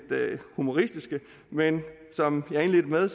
humoristiske men som jeg indledte med at